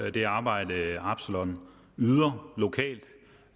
at det arbejde absalon yder lokalt